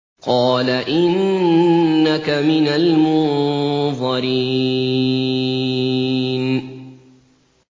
قَالَ إِنَّكَ مِنَ الْمُنظَرِينَ